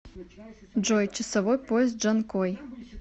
джой часовой пояс джанкой